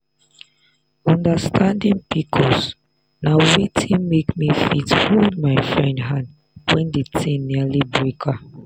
understanding pcos na wetin make me fit hold my friend hand when di thing nearly break her.